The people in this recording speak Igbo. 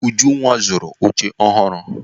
Ujunwa zụrụ oche ọhụrụ.